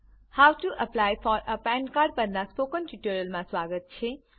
હોવ to apply for a PAN card પરનાં spoken ટ્યુટોરીયલમાં સ્વાગત છે